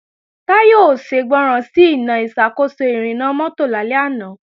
Táyọ̀ ò ṣègbọràn sí Iná ìṣàkóso ìrìnnà mọ́tò lálẹ́ àná